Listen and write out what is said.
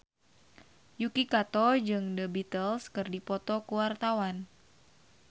Yuki Kato jeung The Beatles keur dipoto ku wartawan